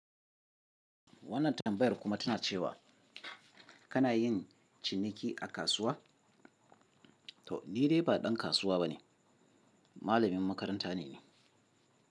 Wannan tambayar kuma tana cewa kana yin ciniki a kasuwa? To ni dai ba ɗan kasuwa ba ne, malamin makaranta ne ni.